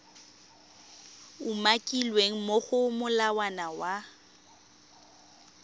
umakilweng mo go molawana wa